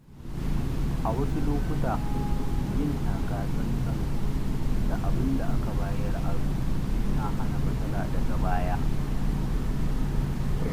A wasu lokuta, yin taka-tsan-tsan da abinda aka bayar aro yana hana matsala daga baya.